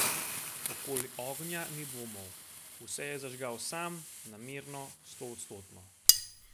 Okoli ognja ni dvomov: "Vse je zažgal sam, namerno, stoodstotno.